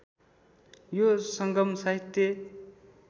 यो सङ्गम साहित्य